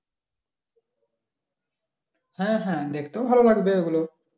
হ্যাঁ হ্যাঁ দেখতেও ভালো লাগবে ওগুলো